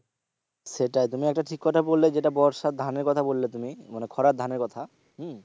সেটাই তুমি একটা ঠিক কথা বললে যেটা বর্ষার ধানের কথা বললে তুমি মানে খরার ধানের কথা হম